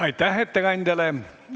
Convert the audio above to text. Aitäh ettekandjale!